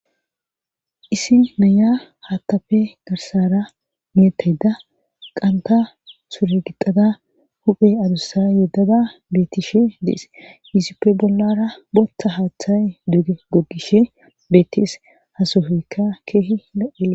isi naya hattafe garsara miyettayda qanta suure gixada huphe adussa yeddada bettishe dees yisippe bollara boththa haaththay dege gogishe beettes hasohoyka keehi lo7es